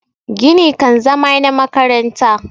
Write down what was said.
gini kan zama na makaranta